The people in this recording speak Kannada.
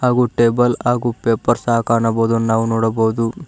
ಗೂ ಟೇಬಲ್ ಹಾಗೂ ಪೇಪರ್ಸ್ ಸಹ ಕಾಣಬಹುದು ನಾವು ನೋಡಬಹುದು.